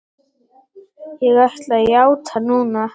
Ég ætla að játa núna.